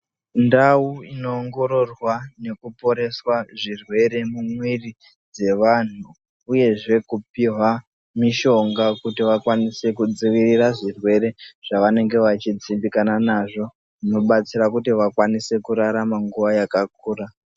Ndau inoongororwa nekuporeswa zvirwere mumwiri dzevantu, uyezve kupihwa mishonga kuti vakwanise kudzivirira zvirwere, zvavanenge vachi dzimbikana nazvo, zvinobatsira kuti vakwanise kurarama nguva yakakura.